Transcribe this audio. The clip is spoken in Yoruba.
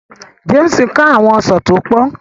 James ká àwọn Ọsán tó pòn